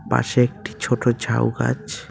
পাশে একটি ছোট ঝাউ গাছ।